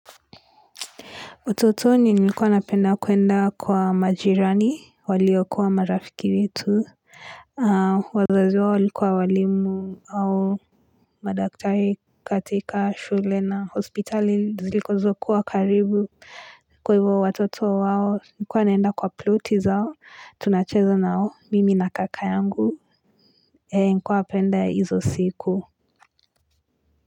Utotoni nilikuwa napenda kwenda kwa majirani waliokuwa marafiki wetu, wazazi wao walikuwa walimu au madaktari katika shule na hospitali zilizokuwa kuwa karibu kwa hivyo watoto wao nilikuwa nenda kwa ploti zao tunacheza nao mimi na kaka yangu nilikuwa napenda hizo siku.